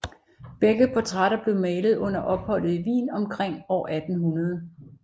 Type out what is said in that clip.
Begge portrætter blev malet under opholdet i Wien omkring år 1800